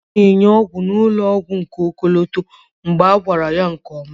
a na-enye ọgwụ n'ụlọ ọgwụ ọkọlọtọ mgbe a gwara ya nke ọma